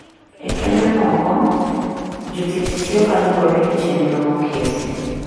E kembe moko, jotich tiyo kaluwore gi chenro moketi